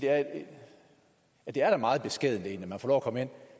at det egentlig er meget beskedent at man får lov at komme